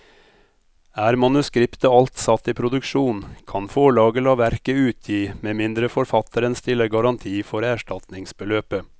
Er manuskriptet alt satt i produksjon, kan forlaget la verket utgi med mindre forfatteren stiller garanti for erstatningsbeløpet.